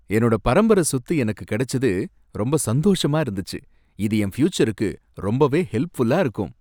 என்னோட பரம்பர சொத்து எனக்கு கிடைச்சது ரொம்ப சந்தோஷமா இருந்துச்சு, இது என் ஃப்யூச்சருக்கு ரொம்பவே ஹெல்ப்ஃபுல்லா இருக்கும்